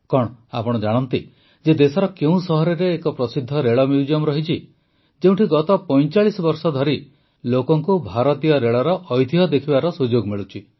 କଣ ଆପଣ ଜାଣନ୍ତି ଯେ ଦେଶର କେଉଁ ସହରରେ ଏକ ପ୍ରସିଦ୍ଧ ରେଳ ମ୍ୟୁଜିୟମ୍ ରହିଛି ଯେଉଁଠି ଗତ ୪୫ ବର୍ଷ ଧରି ଲୋକଙ୍କୁ ଭାରତୀୟ ରେଳର ଐତିହ୍ୟ ଦେଖିବାକୁ ସୁଯୋଗ ମିଳୁଛି